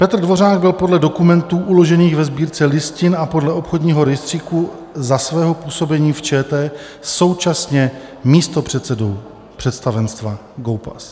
Petr Dvořák byl podle dokumentů uložených ve Sbírce listin a podle obchodního rejstříku za svého působení v ČT současně místopředsedou představenstva GOPAS.